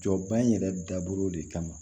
Jɔba in yɛrɛ dabɔ de kama